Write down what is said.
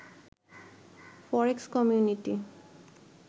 ফরেক্স community